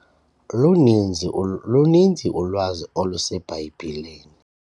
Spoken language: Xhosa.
Luninzi ulwazi oluseBhayibhileni.